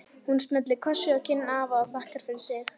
Hún smellir kossi á kinn afa og þakkar fyrir sig.